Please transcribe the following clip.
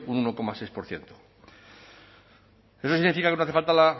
un uno coma seis por ciento eso significa que no hace falta